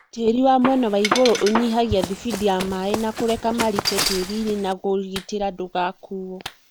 tĩri wa mwena waigũrũ ũnyihagia thibindi ya maĩ na kũreka marike tĩrinĩ na kũgitĩra ndũgakuo.